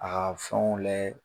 A ka fɛnw layɛ